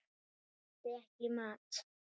Ég hendi ekki mat.